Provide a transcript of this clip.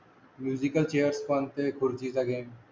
musical chair पण ते खुर्ची चा गेम